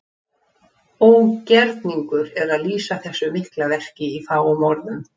Ógerningur er að lýsa þessu mikla verki í fáum orðum.